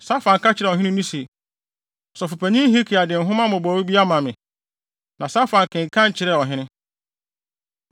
Safan ka kyerɛɛ ɔhene no se, “Ɔsɔfopanyin Hilkia de nhoma mmobɔwee bi ama me.” Na Safan kenkan kyerɛɛ ɔhene.